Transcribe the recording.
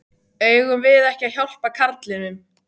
Eigum við ekki að hjálpa karlinum?